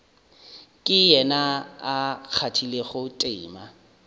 ke yena a kgathilego tema